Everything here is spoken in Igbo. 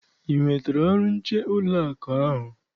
I nwetara ọrụ nche n'ụlọakụ ahụ?